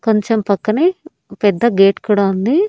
కొంచం పక్కనే పెద్ద గేట్ కూడా ఉంది.